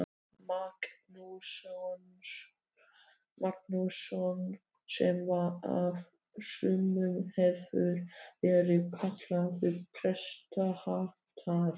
Magnússon, sem af sumum hefur verið kallaður prestahatari.